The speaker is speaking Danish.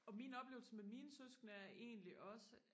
og min oplevelse med mine søskende er egentlig også